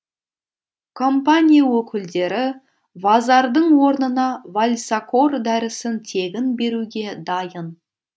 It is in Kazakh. компания өкілдері вазардың орнына вальсакор дәрісін тегін беруге дайын